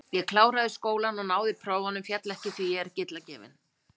Ég kláraði skólann og náði prófum, féll ekki, því ég er ekki illa gefinn.